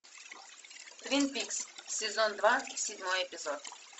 твин пикс сезон два седьмой эпизод